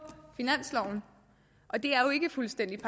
finansloven og det er jo ikke fuldstændig